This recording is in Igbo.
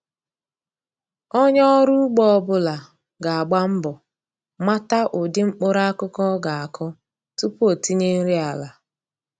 Onye ọrụ ugbo ọ bụla ga-agba mbọ mata ụdị mkpụrụakụkụ ọ ga-akụ tupu o tinye nri ala.